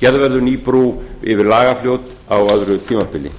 gerð verður ný brú yfir lagarfljót á öðru tímabili